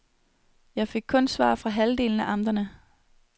Jeg fik kun svar fra halvdelen af amterne.